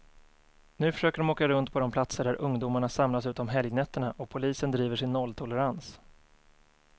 Nu försöker de åka runt på de platser där ungdomarna samlas ute om helgnätterna, och polisen driver sin nolltolerans.